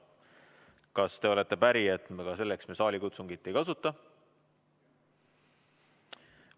Kas te olete päri, et me ka selleks saalikutsungit ei kasuta?